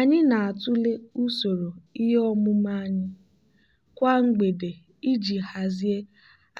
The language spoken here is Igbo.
anyị na-atụle usoro ihe omume anyị kwa mgbede iji hazie